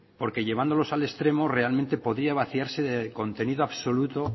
porque llevándolos al extremo realmente podría vaciarse de contenido absoluto